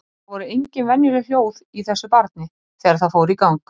Það voru engin venjuleg hljóð í þessu barni þegar það fór í gang.